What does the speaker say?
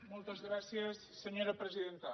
moltes gràcies senyora presidenta